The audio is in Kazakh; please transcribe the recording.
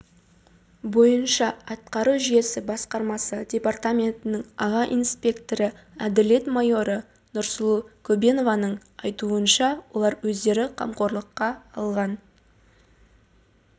бойынша атқару жүйесі басқармасы департаментінің аға инспекторы әділет майоры нұрсұлу көбенованың айтуынша олар өздері қамқорлыққа алған